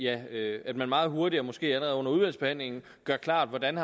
at at man meget hurtigt og måske allerede under udvalgsbehandlingen gør klart hvordan